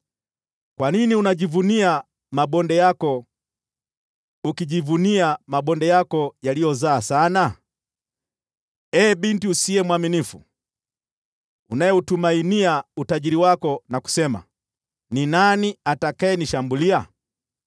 Kwa nini unajivunia mabonde yako, kujivunia mabonde yako yaliyozaa sana? Ee binti usiye mwaminifu, unayeutumainia utajiri wako na kusema, ‘Ni nani atakayenishambulia?’